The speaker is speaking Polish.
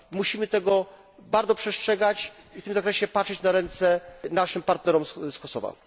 Musimy tego bardzo przestrzegać i w tym zakresie patrzeć na ręce naszym partnerom z Kosowa.